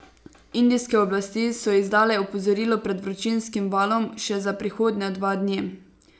Indijske oblasti so izdale opozorilo pred vročinskim valom še za prihodnja dva dni.